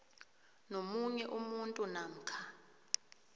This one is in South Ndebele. nomunye umuntu namkha